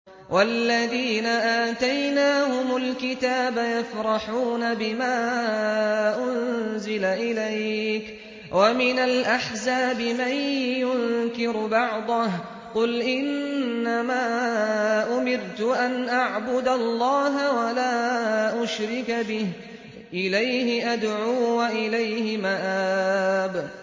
وَالَّذِينَ آتَيْنَاهُمُ الْكِتَابَ يَفْرَحُونَ بِمَا أُنزِلَ إِلَيْكَ ۖ وَمِنَ الْأَحْزَابِ مَن يُنكِرُ بَعْضَهُ ۚ قُلْ إِنَّمَا أُمِرْتُ أَنْ أَعْبُدَ اللَّهَ وَلَا أُشْرِكَ بِهِ ۚ إِلَيْهِ أَدْعُو وَإِلَيْهِ مَآبِ